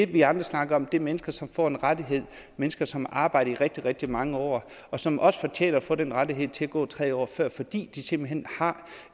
det vi andre snakker om er mennesker som får en rettighed mennesker som arbejdet i rigtig rigtig mange år og som også fortjener at få den rettighed til at gå tre år før fordi de simpelt hen har